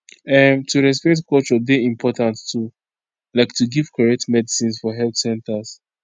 um to respect culture dey important too like to give correct medicines for health centers